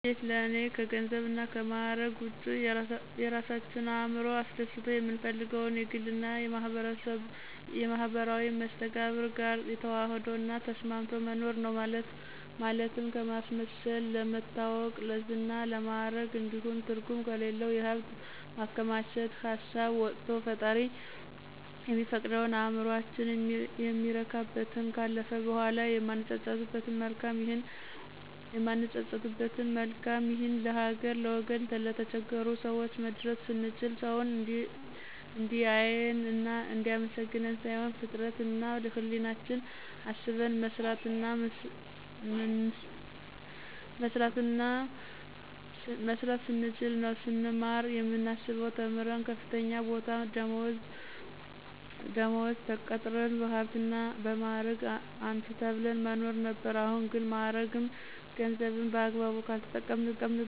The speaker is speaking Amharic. ስኬት ለእኔ ከገንዘብና ከማዕረግ ውጭ የራሳችን እዕምሮ አስደስቶ የምንፈልገውን የግልና የማህበራዊ መስተጋብር ጋር ተዋህዶ እና ተስማምቶ መኖር ነው። ማለትም ከማስመሰል፣ ለመታወቅ፣ ለዝና፣ ለማዕረግ እንዲሁም ትርጉም ከሌለው የሀብት ማከማቸት ሀሳብ ወቶ ፈጣሪ የሚፈቅደውን፣ እዕምሮአችን የሚረካበትን፣ ካለፈ በኋላ የማንጸጸትበትን መልካም ይህን ለሀገር፣ ለወገን፣ ለተቸገሩ ሰወች መድረስ ስንችል፣ ሰውን እንዲአየን እና እንዲአመሰግነን ሳይሆን ፍጥረት እና ህሌናችን አስበን መስራትና ምንስ ስንችል ነው። ስንማር የምናስበው ተምረን በከፍተኛ ቦታና ደመወዝ ተቀጥረን በሀብትና እና በማዕረግ አንቱ ተብለን መኖር ነበር አሁን ግን ማዕረግም ገንዘብም በአግባቡ ካልተጠቀምንበት መጥፊያ እንደሆነ ተረድቻለሁ።